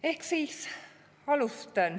Ehk siis alustan.